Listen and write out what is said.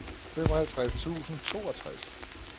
femoghalvtreds tusind og toogtres